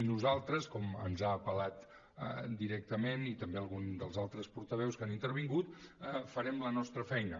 nosaltres com que ens ha apel·lat directament i també algun dels altres portaveus que han intervingut farem la nostra feina